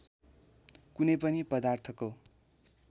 कुनै पनि पदार्थको